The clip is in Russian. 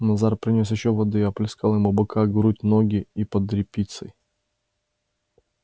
назар принёс ещё воды и оплескал ему бока грудь ноги и под репицей